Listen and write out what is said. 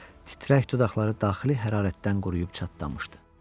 Titrək dodaqları daxili hərarətdən quruyub çatlamışdı.